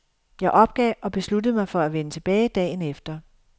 Jeg opgav og besluttede mig for at vende tilbage dagen efter.